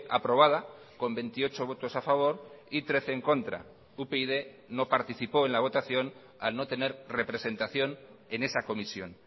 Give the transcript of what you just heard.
aprobada con veintiocho votos a favor y trece en contra upyd no participó en la votación al no tener representación en esa comisión